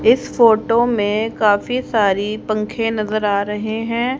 इस फोटो में काफी सारी पंख नजर आ रहे हैं।